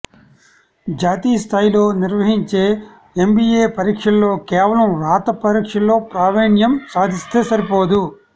జాతీయ స్థాయిలో నిర్వహించే ఎంబీఏ పరీక్షల్లో కేవలం రాత పరీక్షలో ప్రావీణ్యం సాధిస్తే సరిపోదు